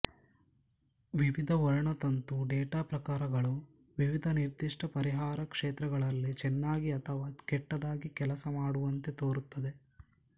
ವಿವಿಧ ವರ್ಣತಂತು ಡೇಟಾ ಪ್ರಕಾರಗಳು ವಿವಿಧ ನಿರ್ದಿಷ್ಟ ಪರಿಹಾರ ಕ್ಷೇತ್ರಗಳಲ್ಲಿ ಚೆನ್ನಾಗಿ ಅಥವಾ ಕೆಟ್ಟದಾಗಿ ಕೆಲಸ ಮಾಡುವಂತೆ ತೋರುತ್ತದೆ